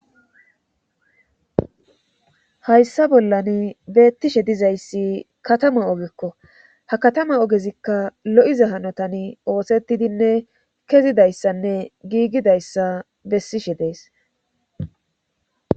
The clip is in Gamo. hayssa bollan beettishe dizayssi katama ogekko ha katama ogezikka lo7iza hanotan oosettidinne kezidayssanne giigidayssa bessishe dees